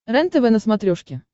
рентв на смотрешке